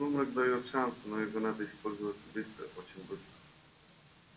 сумрак даёт шанс но его надо использовать быстро очень быстро